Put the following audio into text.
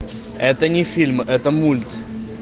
это не фильм это мульт